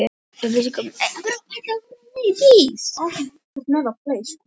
Upplýsingar um fæðuflokkana og manneldismarkmiðin er að finna á heimasíðu Manneldisráðs Íslands.